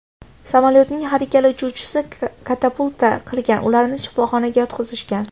Samolyotning har ikkala uchuvchisi katapulta qilgan, ularni shifoxonaga yotqizishgan.